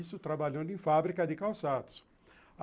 Isso trabalhando em fábrica de calçados.